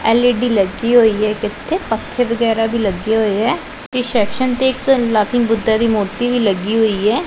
L E D ਲੱਗੀ ਹੋਈ ਹੈ ਇਕ ਇਥੇ ਪੱਖੇ ਵਗੈਰਾ ਵੀ ਲੱਗੇ ਹੋਏ ਐ ਰਿਸੈਪਸ਼ਨ ਤੇ ਲਾਫਿੰਗ ਬੁੱਦਾ ਦੀ ਮੂਰਤੀ ਲੱਗੀ ਹੋਈ ਹੈ।